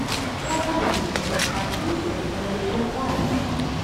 покажи список с актрисой рэйчел вайс